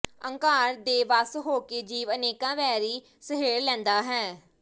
ਅਹੰਕਾਰ ਦੇ ਵੱਸ ਹੋ ਕੇ ਜੀਵ ਅਨੇਕਾਂ ਵੈਰੀ ਸਹੇੜ ਲੈਂਦਾ ਹੈ